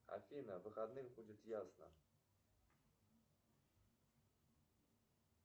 афина в выходные будет ясно